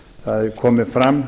það hafa komið fram